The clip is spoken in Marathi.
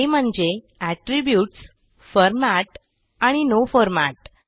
ते म्हणजे एट्रिब्यूट्स फॉर्मॅट आणि नो फॉर्मॅट